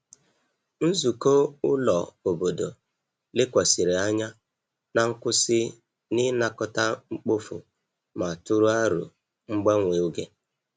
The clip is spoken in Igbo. Nzukọ ụlọ obodo lekwasịrị anya na nkwụsị n’ịnakọta mkpofu ma tụrụ aro mgbanwe oge.